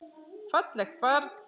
Fallegt barn.